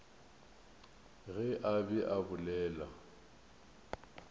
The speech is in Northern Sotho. ge a be a bolela